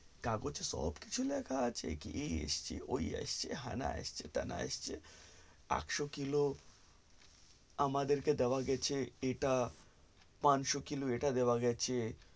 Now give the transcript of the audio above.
কাগজে সব কিছু লেখা আছে কি এসছে ঐ এসছে হেনা এসছে তেনা এসছে আটশো কিলো আমাদেরকে দেওয়া গেছে এটা পাঁচশো কিলো এটা দেওয়া গেছে